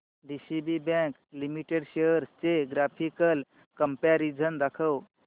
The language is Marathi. डीसीबी बँक लिमिटेड शेअर्स चे ग्राफिकल कंपॅरिझन दाखव